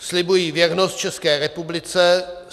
"Slibuji věrnost České republice.